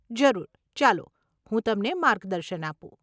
જરૂર, ચાલો, હું તમને માર્ગદર્શન આપું.